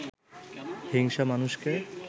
হিংসা মানুষকে